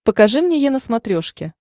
покажи мне е на смотрешке